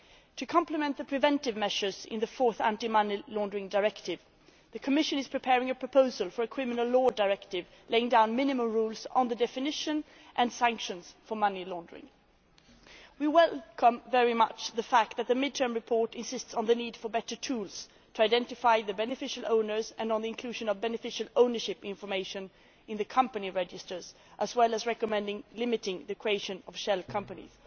To complement the preventive measures in the fourth Money Laundering Directive, the Commission is preparing a proposal for a criminal law directive laying down minimum rules on the definition of, and sanctions for, money laundering. We greatly welcome the fact that the mid term report insists on the need for better tools to identify the beneficial owners and the inclusion of beneficial ownership information in company registers, as well as recommending limiting the creation of shell companies.